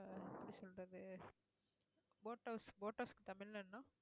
boat houseboat house க்கு தமிழ்ல என்ன